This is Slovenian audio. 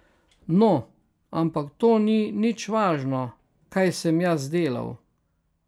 No, ampak to ni nič važno, kaj sem jaz delal.